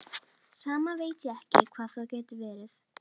Samt veit ég ekki hvað það getur verið.